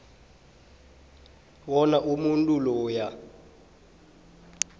bona umuntu loyo